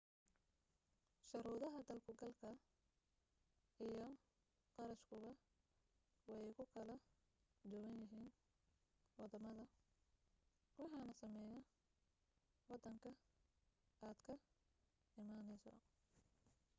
shuruudaha dal-ku-galka iyo qarashkuba way ku kala duwan yihiin waddamada waxaana saameynaya waddanka aad ka imanayso